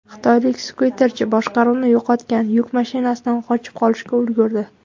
Xitoylik skuterchi boshqaruvni yo‘qotgan yuk mashinasidan qochib qolishga ulgurdi.